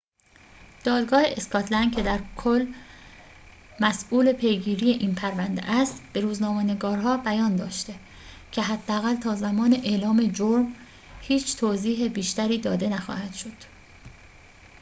دادگاه اسکاتلند که در کل مسئول پیگیری این پرونده است به روزنامه‌نگارها بیان داشته که حداقل تا زمان اعلام جرم هیچ توضیح بیشتری داده نخواهد شد